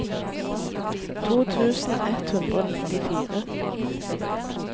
to tusen ett hundre og nittifire